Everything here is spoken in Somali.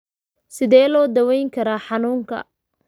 Sidee loo daweyn karaa xanuunka Chilaiditi?